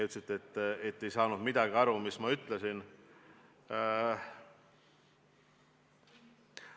Ütlesite, et te ei saanud minu vastusest midagi aru.